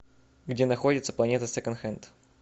где находится планета секонд хенд